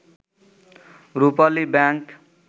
Rupali bank